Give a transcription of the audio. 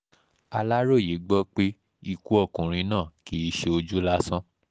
aláròye gbọ́ pé pé ikú ọkùnrin náà kì í ṣe ojú lásán